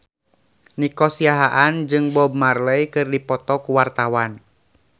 Nico Siahaan jeung Bob Marley keur dipoto ku wartawan